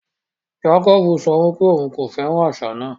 Jàkòbú sọ pé ọ̀un kò fẹ́ran àṣà náà.